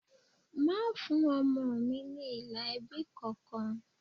Má fún ọmọ mi ní ilà ẹbí kankan!